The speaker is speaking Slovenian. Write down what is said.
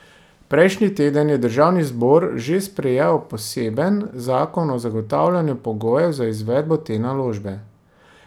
Prejšnji teden je državni zbor že sprejel poseben zakon o zagotavljanju pogojev za izvedbo te naložbe.